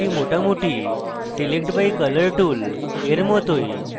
এটি মোটামুটি select by colour tool এর মতই